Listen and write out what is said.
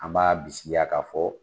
An b'a bisikiya ka fɔ